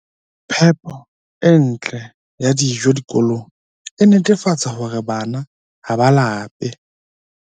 Phepo e ntle ya dijo dikolong e netefatsa hore bana ha ba lape